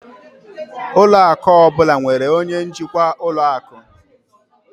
Ụlọ akụ ọ bụla nwere onye njikwa ụlọ akụ.